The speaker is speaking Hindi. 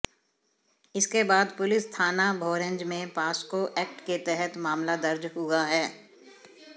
इसके बाद पुलिस थाना भोरंज में पॉस्को एक्ट के तहत मामला दर्ज हुआ है